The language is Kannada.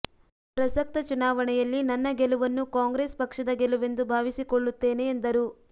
ಪ್ರಸಕ್ತ ಚುನಾ ವಣೆಯಲ್ಲಿ ನನ್ನ ಗೆಲುವನ್ನು ಕಾಂಗ್ರೆಸ್ ಪಕ್ಷದ ಗೆಲುವೆಂದು ಭಾವಿಸಿಕೊಳ್ಳುತ್ತೇನೆ ಎಂದರು